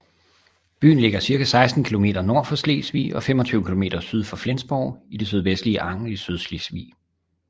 Byen ligger cirka 16 kilometer nord for Slesvig og 25 kilometer syd for Flensborg i det sydvestlige Angel i Sydslesvig